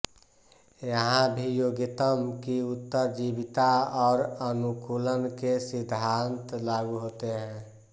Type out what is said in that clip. यहां भी योग्यतम की उत्तरजीविता और अनुकूलन के सिद्धांत लागू होते हैं